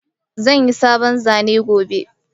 Zan yi sabon zane gobe.